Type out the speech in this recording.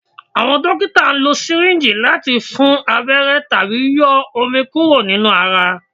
Awọn dokita lo syringe lati fun abẹrẹ tabi yọ omi kuro ninu ara